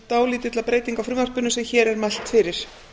dálítilla breytinga á frumvarpinu sem hér er mælt fyrir